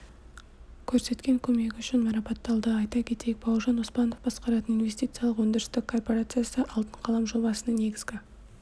көрсеткен көмегі үшін марапатталды айта кетейік бауыржан оспанов басқаратын инвестициялық-өндірістік корпорациясы алтын қалам жобасының негізгі